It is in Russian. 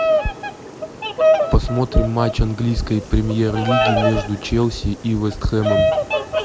посмотрим матч английской премьер лиги между челси и вест хэмом